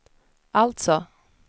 alltså